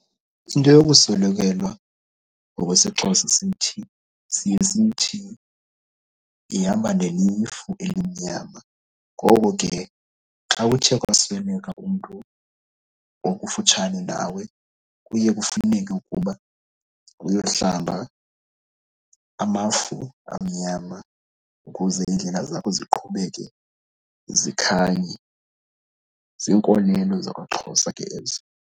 Into yokuswelekelwa ngokwesiXhosa sithi, siye sithi ihamba nelifu elimnyama. Ngoko ke xa kuthe kwasweleka umntu okufutshane nawe kuye kufuneke ukuba uyohlamba amafu amnyama ukuze indlela zakho ziqhubeke zikhanye. Ziinkolelo zakwaXhosa ke ezo.